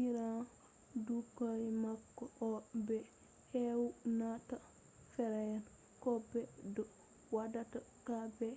irin ɓikkoy man on ɓe ewnata fere” ko ɓe ɗo waɗa ba daabba